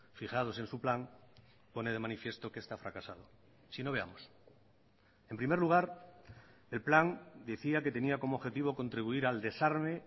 fijados en su plan pone de manifiesto que esta ha fracasado si no veamos en primer lugar el plan decía que tenía como objetivo contribuir al desarme